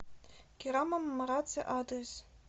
керама мараци адрес